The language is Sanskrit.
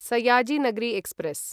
सयाजी नगरी एक्स्प्रेस्